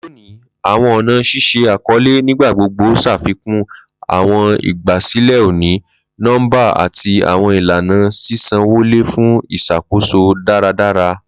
Loni, awọn ọna ṣiṣe akọle nigbagbogbo ṣafikun awọn igbasilẹ oni-nọmba ati awọn ilana ṣiṣanwọle fun iṣakoso daradara.